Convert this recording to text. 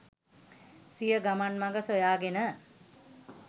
සිය ගමන් මග සොයා ගෙන